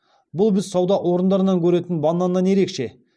бұл біз сауда орындарынан көретін бананнан ерекше